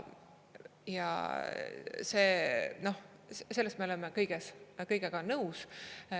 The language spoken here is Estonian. Sellega me oleme kõik nõus.